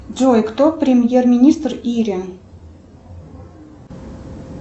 джой кто премьер министр ири